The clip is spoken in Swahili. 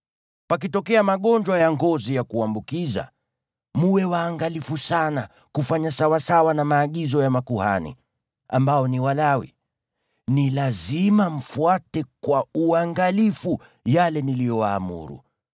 Pakitokea magonjwa ya ngozi ya kuambukiza, mwe waangalifu sana kufanya sawasawa na maagizo ya makuhani, ambao ni Walawi. Ni lazima mfuate kwa uangalifu yale niliyowaamuru.